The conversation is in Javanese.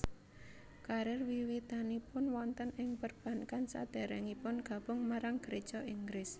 Karir wiwitanipun wonten ing perbankan sadèrèngipun gabung marang Geréja Inggris